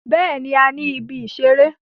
Bẹẹni, a ni ìbí isẹ̀rẹ̀.